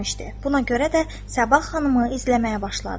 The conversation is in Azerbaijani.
Buna görə də Səbah xanımı izləməyə başladı.